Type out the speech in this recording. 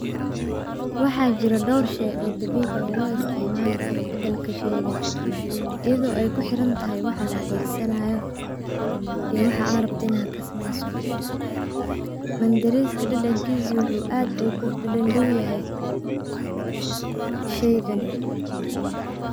Waxaa jira dhowr shay oo dabiici oo loo isticmaali karo bedelka shaygan iyado ay ku xirantahay waxa la adegsanayo iyo waxaa aa rabto inaa kasameyso mandareska dadankiisa waxuu aad ogu dhadhawyahay shaygan.